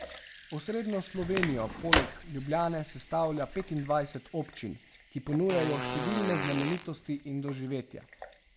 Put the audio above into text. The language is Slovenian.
Osrednjo Slovenijo poleg Ljubljane sestavlja petindvajset občin, ki ponujajo številne znamenitosti in doživetja.